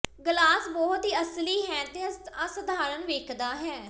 glass ਬਹੁਤ ਹੀ ਅਸਲੀ ਹੈ ਅਤੇ ਅਸਾਧਾਰਨ ਵੇਖਦਾ ਹੈ